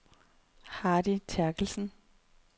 Hardy Therkelsen